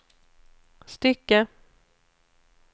stycke